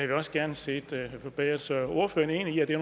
vi også gerne set forbedret så er ordføreren enig i at det er